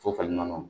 Sofɛrimɔ